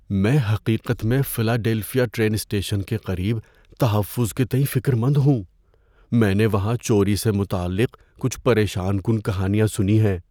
میں حقیقت میں فلاڈیلفیا ٹرین اسٹیشن کے قریب تحفظ کے تئیں فکر مند ہوں۔ میں نے وہاں چوری سے متعلق کچھ پریشان کن کہانیاں سنی ہیں۔